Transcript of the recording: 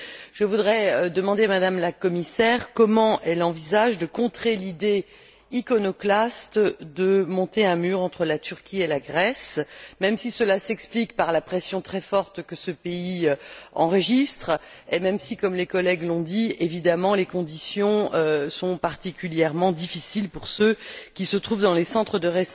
Je voudrais demander à Mme la commissaire comment elle envisage de contrer l'idée iconoclaste de monter un mur entre la Turquie et la Grèce, même si cela s'explique par la pression très forte que ce pays enregistre et même si, comme les collègues l'ont dit, les conditions sont particulièrement difficiles pour ceux qui se trouvent dans les centres de